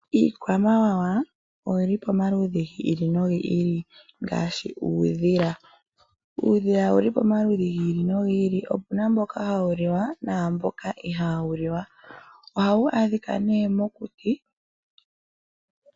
Iikwamawawa oyili pamaludhi giili nogiili ngaashi uudhila. Uudhila owuli pamaludhi giili nogiili. Opuna mboka hawu li na mboka ihaa wu liwa. Ohawu adhika nee mokuti.